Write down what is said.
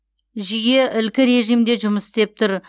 жүйе ілкі режимде жұмыс істеп тұр